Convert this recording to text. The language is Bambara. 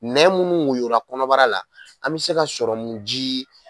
Nɛ munnu woyola kɔnɔbara la an be sɔrɔmujii